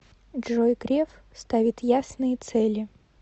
джой греф ставит ясные цели